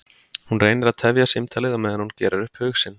Hún reynir að tefja símtalið á meðan hún gerir upp hug sinn.